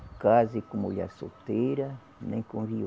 Case com mulher solteira, nem com